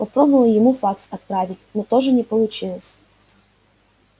пробовала ему факс отправить но тоже не получилось